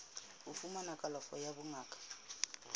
ho fumana kalafo ya bongaka